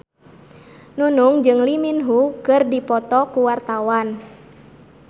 Nunung jeung Lee Min Ho keur dipoto ku wartawan